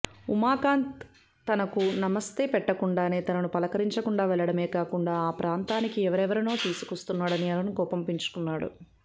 ఉమాకాంత్ తనకు నమస్తే పెట్టకుండానే తనను పలకరించకుండా వెళ్ళడమే కాకుండా ఆ ప్రాంతానికి ఎవరెవరినో తీసుకొస్తున్నాడని అరుణ్ కోపం పెంచుకున్నాడు